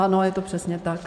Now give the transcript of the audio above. Ano, je to přesně tak.